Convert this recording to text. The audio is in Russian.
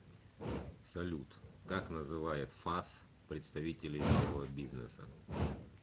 салют как называет фас представителей малого бизнеса